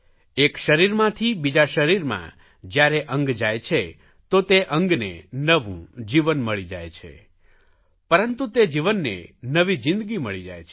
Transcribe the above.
એક શરીરમાંથી બીજા શરીરમાં જયારે અંગ જાય છે તો તે અંગને નવું જીવન મળી જાય છે પરંતુ તે જીવનને નવી જિંદગી મળી જાય છે